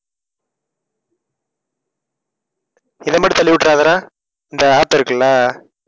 இதை மட்டும் தள்ளி விட்டுறாதடா இந்த app இருக்குல்ல